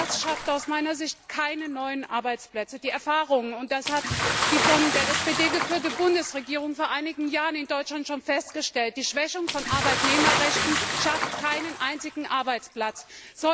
Das schafft aus meiner Sicht keine neuen Arbeitsplätze. Die Erfahrungen zeigen und das hat die von der SPD geführte Bundesregierung vor einigen Jahren in Deutschland schon festgestellt dass die Schwächung von Arbeitnehmerrechten keinen einzigen Arbeitsplatz schafft.